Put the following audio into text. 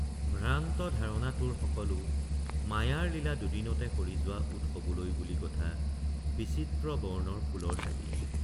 ভ্ৰান্ত ধাৰণা তোৰ সকলো মায়াৰ লীলা দুদিনতে সৰি যোৱা উৎসৱলৈ বুলি গথা বিচিত্ৰ বৰ্ণৰ ফুলৰ চাকি।